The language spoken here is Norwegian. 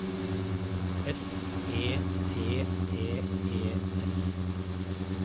S E T T E S